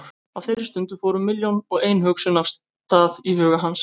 Á þeirri stundu fóru milljón og ein hugsun af stað í huga hans.